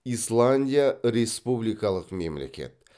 исландия республикалық мемлекет